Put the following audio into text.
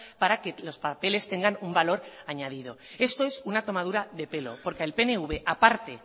para que los papeles tengan un valor añadido esto es una tomadura de pelo porque el pnv aparte